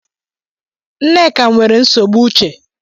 Nneka nwere nsogbu uche